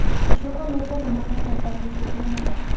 Shu kungacha bunaqa katta tish uchramagan”.